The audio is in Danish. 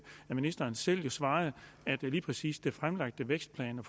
at ministeren jo selv svarede at lige præcis den fremlagte vækstplan var